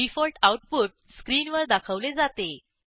default output स्क्रीनवर दाखवले जाते